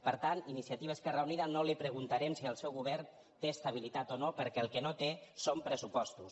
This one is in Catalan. per tant iniciativa esquerra unida no li preguntarem si el seu govern té estabilitat o no perquè el que no té són pressupostos